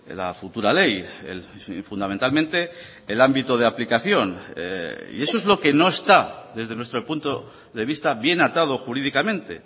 la futura ley fundamentalmente el ámbito de aplicación y eso es lo que no está desde nuestro punto de vista bien atado jurídicamente